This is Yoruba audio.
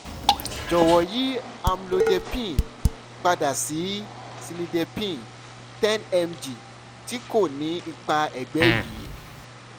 jọwọ yi amlodepine pada si cilnidepine ten mg ti ko ni ipa ẹgbẹ yii